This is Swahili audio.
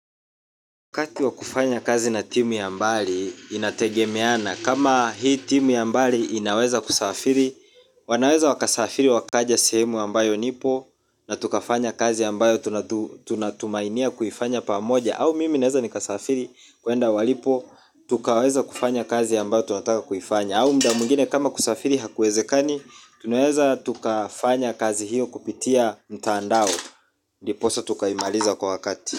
Wakati wa kufanya kazi na timu ya mbali inategemeana kama hii timu ya mbali inaweza kusafiri. Wanaweza wakasafiri wakaja sehemu ambayo nipo. Na tukafanya kazi ambayo tunatumainia kuifanya pamoja. Au mimi naweza nikasafiri kuenda walipo. Tukaweza kufanya kazi ambayo tunataka kuifanya. Au muda mwingine kama kusafiri hakuwezekani tunaweza tukafanya kazi hiyo kupitia mtaandao. Diposa tukaimaliza kwa wakati.